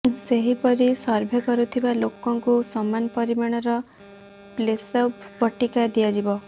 ସେହିପରି ସର୍ଭେ କରୁଥିବା ଲୋକଙ୍କୁ ସମାନ ପରିମାଣର ପ୍ଲେସବୋ ବଟିକା ଦିଆଯିବ